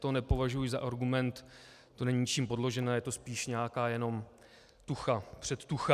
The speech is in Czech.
To nepovažuji za argument, to není ničím podložené, je to spíš nějaká jenom tucha, předtucha.